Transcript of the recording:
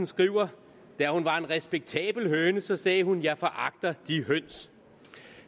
skriver da hun var en respektabel høne så sagde hun jeg foragter de høns